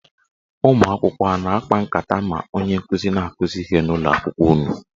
Ụmụakwụkwọ a na-akpa nkata ma onye nkụzi na-akụzi ihe n'ụlọakwụkwọ unu?